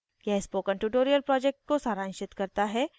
यह spoken tutorial project को सारांशित करता है